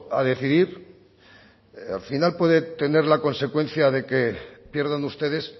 a decidir al final puede tener la consecuencia de que pierdan ustedes